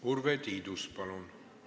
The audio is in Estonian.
Urve Tiidus, palun!